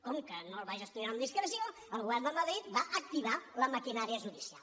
com que no el va gestionar amb discreció el govern de madrid va activar la maquinària judicial